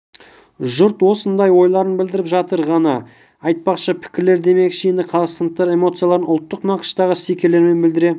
жұрт осындай ойларын білдіріп жатыр ғани айтпақшы пікірлер демекші енді қазақстандықтар эмоцияларын ұлттық нақыштағы стикерлермен білдіре